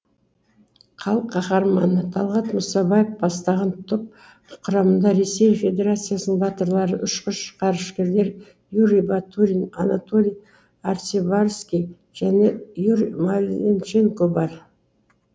халық қаһарманы талғат мұсабаев бастаған топ құрамында ресей федерациясының батырлары ұшқыш ғарышкерлер юрий батурин анатолий арцебарский және юрий маленченко бар